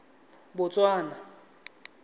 botswana